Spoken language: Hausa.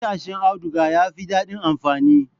Matashin auduga yafi dadin amfani